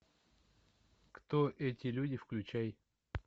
кто эти люди включай